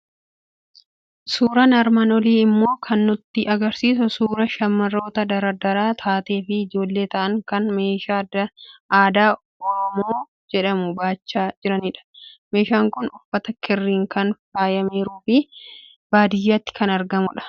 Suuraan armaan olii immoo kan nutti argisiisu suuraa shamarroota dardara taatee fi ijoollee ta'an, kan meeshaa aadaa orooboo jedhamu baachaa jiranidha. Meeshaan kun uffata kirriin kan faayameeruu fi baadiyyaatti kan argamudha.